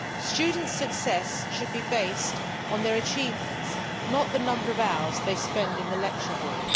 Student success should be based on their achievements, not the number of hours they spend in the lecture hall.